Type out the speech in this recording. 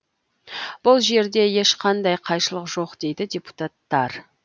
бұл жерде ешқандай қайшылық жоқ дейді депутаттар